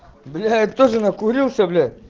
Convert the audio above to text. блять тоже накурился бля